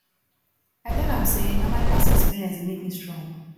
i tell am sey na my past experience dey make me strong